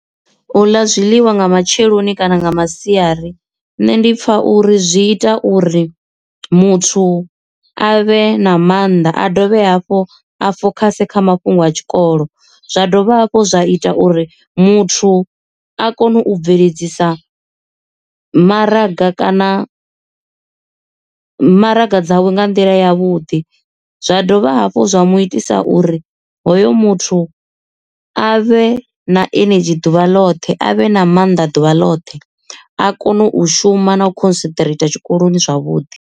U ḽa zwiḽiwa nga matsheloni kana nga masiari nṋe ndi pfha uri zwi ita uri muthu a vhe na maanḓa a dovhe hafhu a fokhase kha mafhungo a tshikolo, zwa dovha hafhu zwa ita uri muthu a kone u bveledzisa maraga kana maraga dzawe nga nḓila ya vhuḓi zwa dovha hafhu zwa mu itisa uri hoyu muthu a vhe na ini tshi ḓuvha ḽoṱhe avhe na mannḓa ḓuvha ḽoṱhe a kone u shuma na u concentrator tshikoloni zwavhuḓi.